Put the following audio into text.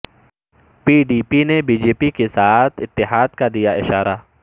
پی D P نے B J P کے ساتھ اتحاد کا دیا اشارہ